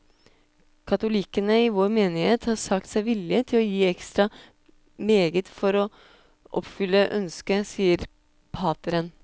Katolikkene i vår menighet har sagt seg villige til å gi ekstra meget for å oppfylle ønsket, sier pateren.